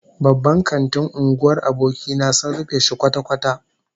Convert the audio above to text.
Babban kantin unguwar abokina sun rufe shi kwata-kwata